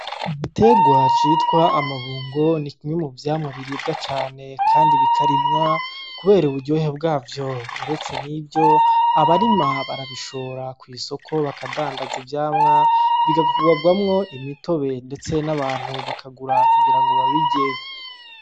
Bitegwajitwa amabungo ni ikinye mu vyamwa biribwa cane, kandi bikarimwa, kubera i uburyohe bwavyo uretse nivyo abarima barabishora kw'isoko bakadandaza ivyamwa bigakuabwamwo imitobe, ndetse n'abantu bakagura kugira ngo babirye.